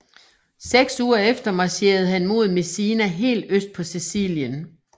Seks uger efter marcherede han mod Messina helt øst på Sicilien